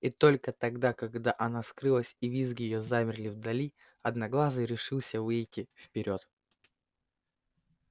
и только тогда когда она скрылась и визги её замерли вдали одноглазый решился выйти вперёд